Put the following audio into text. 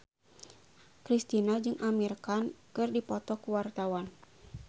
Kristina jeung Amir Khan keur dipoto ku wartawan